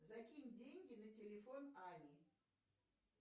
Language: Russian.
закинь деньги на телефон ани